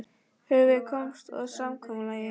Höfum við komist að samkomulagi?